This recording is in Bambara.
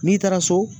N'i taara so